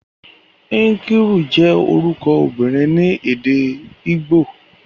Nkiru je oruko obinrin ni ede Igbo.